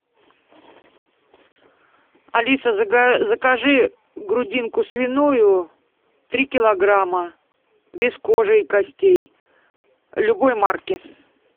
алиса закажи грудинку свиную три килограмма без кожи и костей любой марки